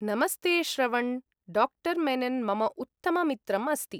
नमस्ते, श्रवण्! डा. मेनन् मम उत्तम मित्रम् अस्ति।